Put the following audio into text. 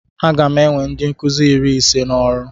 Aga m ewe ndi nkuzi iri ise n'ọrụ